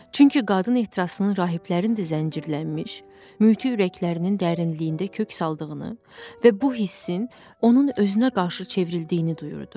Çünki qadın ehtirasının rahiblərin də zəncirlənmiş mütli ürəklərinin dərinliyində kök saldığını və bu hissin onun özünə qarşı çevrildiyini duyurdu.